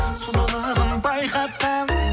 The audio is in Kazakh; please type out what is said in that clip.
сұлулығын байқатқан